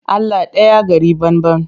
Allah ɗaya gari banban.